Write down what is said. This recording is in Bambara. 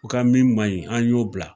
U ka min maɲi an y'o bila